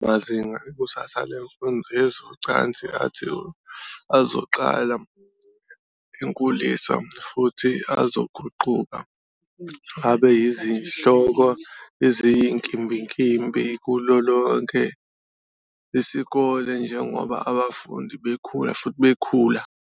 Lawa mazinga, Ikusasa Lemfundo Yezocansi athi, azoqala enkulisa futhi azoguquka abe yizihloko eziyinkimbinkimbi kulo lonke isikole njengoba abafundi bekhula futhi bekhula.